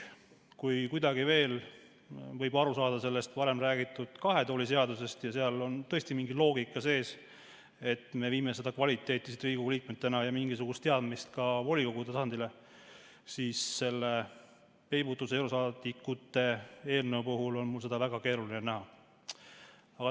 Kui kuidagi võib veel aru saada sellest varem räägitud kahe tooli seadusest, seal on tõesti mingi loogika sees, et me viime siit Riigikogu liikmetena seda kvaliteeti ja mingisugust teadmist ka volikogude tasandile, siis selles peibutuseurosaadikute eelnõus on mul seda väga keeruline näha.